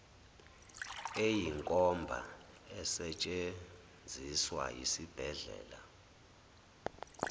eyinkomba esetshenziswa yisibhedlela